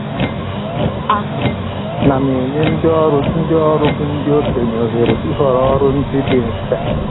A na m enye ndị ọrụ ndị ọrụ bụ ndị okenye ohere ịhọrọ ọrụ ndị dị mfe